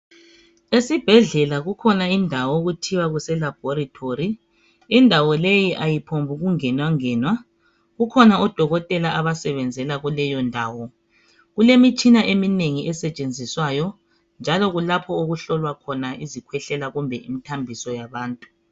Esibhedlela kukhona indawo okuthiwa kuse laboratory Indawo le ayiphongu ngenwangenwa .Kukhona odokotela abasenzela kuleyondawo Kulemitshina eminengi esetshenziswayo njalo kulapho okuhlolwa khona izikhwehlela kumbe imithambiso zabantu.